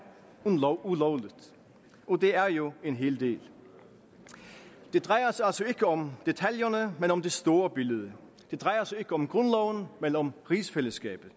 ulovligt og det er jo en hel del det drejer sig altså ikke om detaljerne men om det store billede det drejer sig ikke om grundloven men om rigsfællesskabet